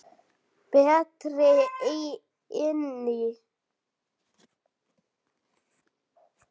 Berti inn í.